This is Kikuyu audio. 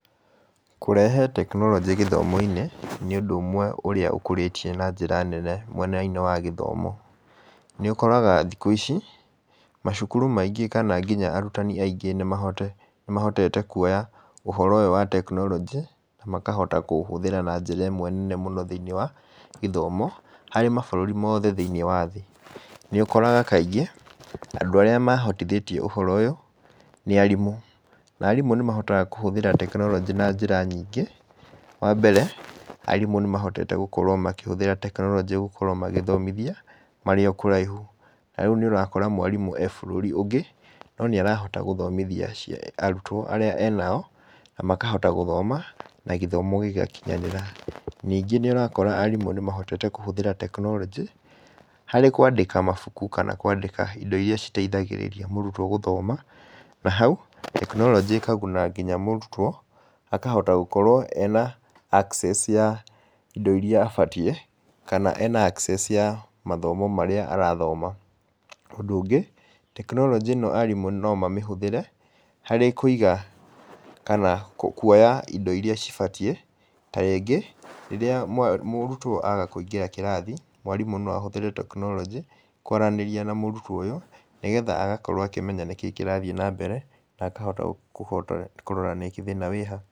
Kũrehe tekinoronjĩ gĩthomo-inĩ, nĩ ũndũ ũmwe ũrĩa ũkũrĩtie na njĩra nene mwena-inĩ wa gĩthomo. Nĩ ũkoraga thikũ ici, macukuru maingĩ kana nginya arutani aingĩ nĩ mahotete kuoya ũhoro ũyũ wa tekinoronjĩ na makahota kũũhũthira na njira ĩmwe nene mũno thĩinĩ wa gĩthomo, harĩ mabũrũri mothe thĩinĩ wa thĩ, nĩũkoraga kaingĩ andũ arĩa mahotithĩtie ũhoro ũyũ, nĩ arimũ, na arimũ nĩ mahotaga kũhũthĩra tekinoronjĩ na njĩra nyingĩ. Wambere, arimũ nĩ mahotete gũkorwo makĩhũthĩra tekinoronjĩ gũkorwo magĩthomithia marĩ o kũraihu, ta rĩu nĩ ũrakora mwarimũ e bũrũri ũngĩ, no nĩ arahota gũthomithia arutwo arĩa e nao, na makahota gũthoma, na gĩthomo gĩgakinyanĩra. Ningĩ nĩ ũrakora arimũ nĩ mahotete kũhũthĩra tekinoronjĩ harĩ kwandĩka mabuku kana kwandĩka indo iria iteithagĩrĩria mũrutwo gũthoma, na hau, tekinoronjĩ ĩkaguna nginya mũrutwo, akahota gũkorwo ena access ya indo iria abatie, kana ena access ya mathomo marĩa arathoma. Ũndũ ũngĩ, tekinoronjĩ ĩno arimũ no mamĩhũthĩre, harĩ kũiga kana kuoya indo iria cibatie, ta rĩngĩ rĩrĩa mũrutwo aga kũingĩra kĩrathi, mwarimũ no ahũthĩre tekinoronjĩ kwaranĩria na mũrutwo ũyũ, nĩgetha agakorwo akĩmenya nĩkĩĩ kĩrathiĩ nambere na akahota kũrora thĩna wĩha.